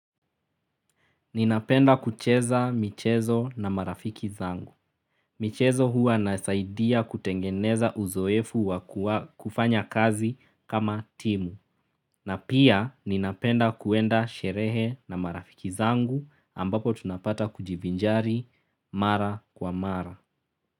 Ninapenda kucheza michezo na marafiki zangu. Michezo hua inasaidia kutengeneza uzoefu wa kufanya kazi kama timu. Na pia ninapenda kuenda sherehe na marafiki zangu ambapo tunapata kujivinjari mara kwa mara.